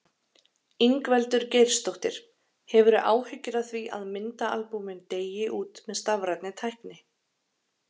Ingveldur Geirsdóttir: Hefurðu áhyggjur af því að myndaalbúmin deyi út með stafrænni tækni?